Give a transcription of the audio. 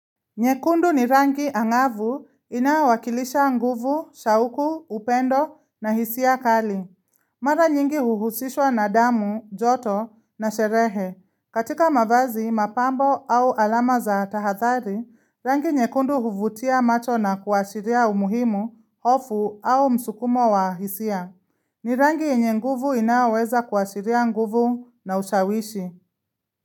Nyekundu ni rangi ang'avu inayo wakilisha nguvu, shauku, upendo na hisia kali. Mara nyingi huhusishwa na damu, joto na sherehe. Katika mavazi, mapambo au alama za tahadhari, rangi nyekundu huvutia macho na kuashiria umuhimu, hofu au msukumo wa hisia. Ni rangi yenye nguvu inayoweza kuashiria nguvu na ushawishi.